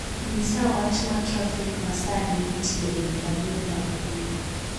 nyisa wach ma trafik ma sani nitie e yo maduong' ma Uhuru